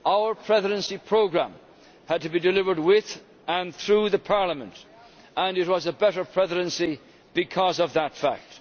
Our Presidency programme had to be delivered with and through Parliament and it was a better Presidency because of that fact.